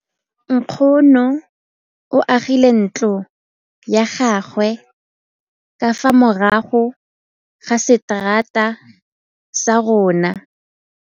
Nkgonne o agile ntlo ya gagwe ka fa morago ga seterata sa rona.